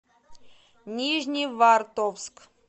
нижневартовск